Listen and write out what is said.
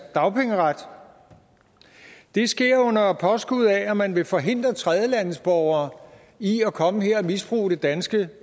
dagpengeret det sker under påskud af at man vil forhindre tredjelandsborgere i at komme her og misbruge det danske